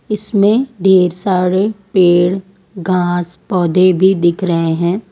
इसमें ढेर सारे पेड़ घास पौधे भी दिख रहे हैं।